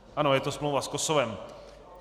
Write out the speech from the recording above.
Ano, je to smlouva s Kosovem.